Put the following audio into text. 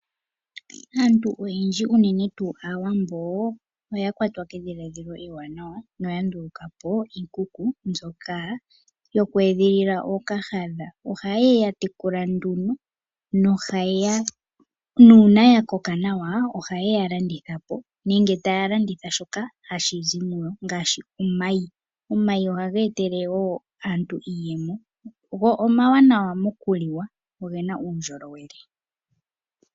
Aantu oyendji unene tuu Aawambo oya kwatwa kedhiladhilo ewanawa noya ndulukapo iikuku mbyoka yoku edhilila ookahadha. Ohaye ya tekula nduno nuuna ya koka nawa ohaye ya landithapo nenge taya landitha shoka hashi zi muyo ngaashi omayi. Omayi ohaga etele wo aantu iiyemo go omawanawa mokuliwa, ogena uundjolowele.